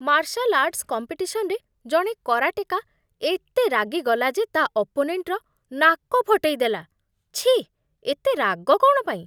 Martial arts କମ୍ପିଟିସନ୍‌ରେ ଜଣେ karateka ଏତେ ରାଗିଗଲା ଯେ ତା' ଅପୋନେଣ୍ଟର ନାକ ଫଟେଇଦେଲା, ଛିଃ, ଏତେ ରାଗ କ'ଣ ପାଇଁ!